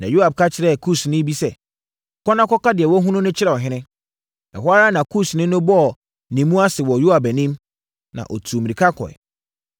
Na Yoab ka kyerɛɛ Kusni bi sɛ, “Kɔ na kɔka deɛ woahunu no kyerɛ ɔhene.” Ɛhɔ ara na Kusni no bɔɔ ne mu ase wɔ Yoab anim, na ɔtuu mmirika kɔeɛ.